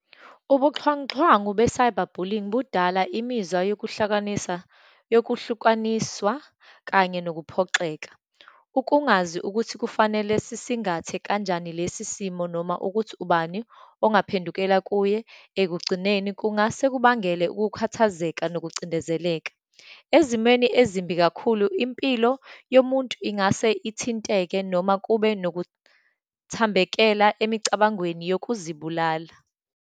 Ubuxhwanguxhwangu be-cyber bullying budala imizwa yokuhlakanisa, yokuhlukaniswa kanye nokuphoxeka. Ukungazi ukuthi kufanele sisingathe kanjani lesi simo, noma ukuthi ubani ongaphendukela kuye, ekugcineni, kungase kubangele ukukhathazeka nokucindezeleka. Ezimweni ezimbi kakhulu, impilo yomuntu ingase ithinteke noma kube nokuthambekela emicabangweni yokuzibulala.